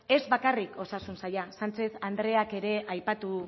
ez bakarrik osasun saila sánchek andreak ere aipatu